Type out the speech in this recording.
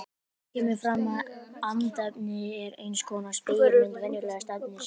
Þar kemur fram að andefni er eins konar spegilmynd venjulegs efnis.